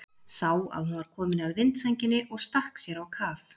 Sá að hún var komin að vindsænginni og stakk sér á kaf.